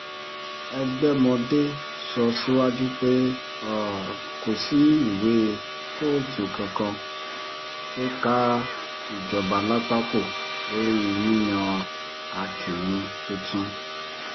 ẹgbẹ̀mọdé sọ síwájú pé um kò sí ìwé kóòtù kankan tó ká ìjọba lápá kó lórí yíyan um akinrun tuntun